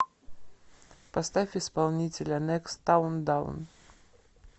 поставь исполнителя некст таун даун